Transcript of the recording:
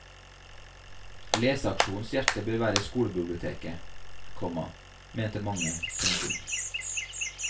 Leseaksjonens hjerte bør være skolebiblioteket, komma mente mange. punktum